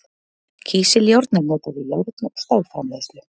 Kísiljárn er notað í járn- og stálframleiðslu.